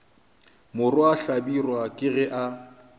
morwa hlabirwa ke ge a